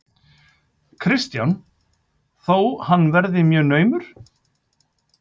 Kristján: Þó hann verið mjög naumur?